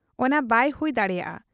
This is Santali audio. ᱚᱱᱟ ᱵᱟᱭ ᱦᱩᱭ ᱫᱟᱲᱮᱭᱟᱜ ᱟ ᱾